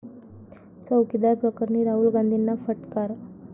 चौकीदार प्रकरणी राहुल गांधींना फटकार